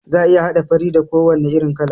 Za'a iya haɗa fari da ko wane irin kala